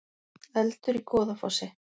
Eldur í Goðafossi